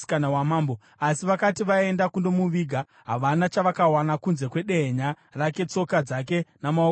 Asi vakati vaenda kundomuviga, havana chavakawana kunze kwedehenya rake, tsoka dzake namaoko ake chete.